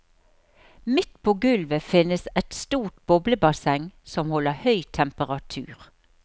Midt på gulvet finnes et stort boblebasseng som holder høy temperatur.